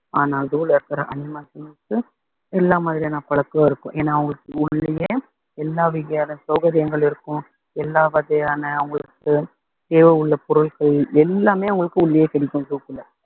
ஆனா zoo ல இருக்கிற animals களுக்கு மட்டும் எல்லா மாதிரியான பழக்கம் இருக்கும் ஏன்னா அவங்களுக்கு உள்ளேயே எல்லா வகையான சௌகரியங்கள் இருக்கும் எல்லா வகையான அவங்களுக்கு தேவை உள்ள பொருட்கள் எல்லாமே உங்களுக்கு உள்ளேயே கிடைக்கும் zoo க்குள்ள